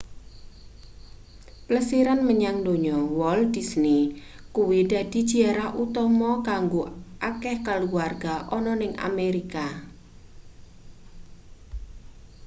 plesiran menyang donya walt disney kuwi dadi jiarah utama kanggo akeh kaluwarga ana ning amerika